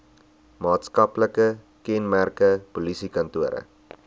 maatskaplike kenmerke polisiekantore